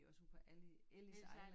Vi var sådan Ellis Island